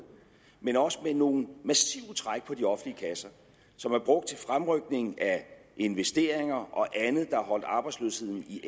men også med nogle massive træk på de offentlige kasser som er brugt til fremrykning af investeringer og andet der har holdt arbejdsløsheden i